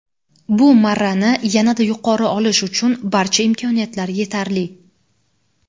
Bu marrani yana-da yuqori olish uchun barcha imkoniyatlar yetarli.